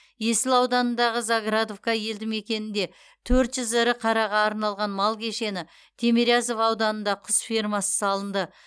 есіл ауданындағы заградовка елді мекенінде төрт жүз ірі қараға арналған мал кешені тимирязев ауданында құс фермасы салынды